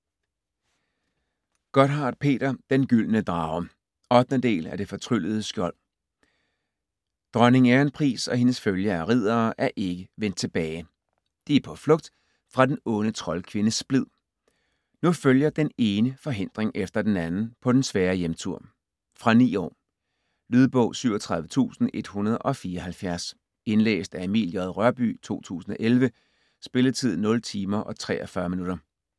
Gotthardt, Peter: Den gyldne drage 8. del af Det fortryllede skjold. Dronning Ærenpris og hendes følge af riddere er ikke vendt tilbage. De er på flugt fra den onde troldkvinde Splid. Nu følger den ene forhindring efter den anden på den svære hjemtur. Fra 9 år. Lydbog 37174 Indlæst af Emil J. Rørbye, 2011. Spilletid: 0 timer, 43 minutter.